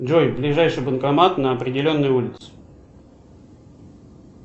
джой ближайший банкомат на определенной улице